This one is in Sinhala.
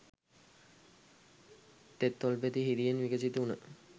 තෙත් තොල්පෙති හිරියෙන් විකසිත වුණ